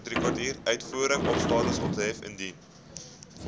uitvoerstatus ophef indien